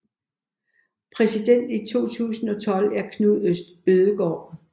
Præsident i 2012 er Knut Ødegård